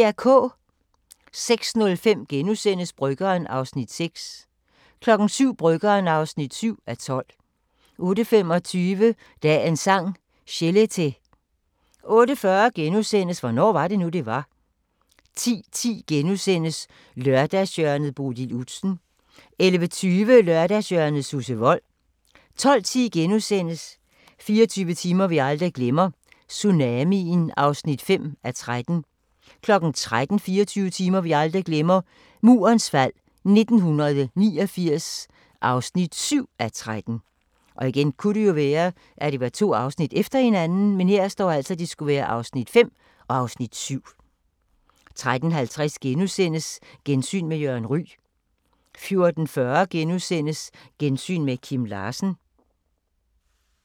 06:05: Bryggeren (6:12)* 07:00: Bryggeren (7:12) 08:25: Dagens Sang: Chelete 08:40: Hvornår var det nu det var * 10:10: Lørdagshjørnet - Bodil Udsen * 11:20: Lørdagshjørnet – Susse Wold 12:10: 24 timer vi aldrig glemmer – tsunamien (5:13)* 13:00: 24 timer vi aldrig glemmer – Murens fald 1989 (7:13) 13:50: Gensyn med Jørgen Ryg * 14:40: Gensyn med Kim Larsen *